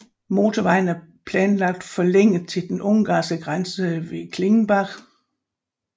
Motorvejen er planlagt forlænget til den ungarske grænse ved Klingenbach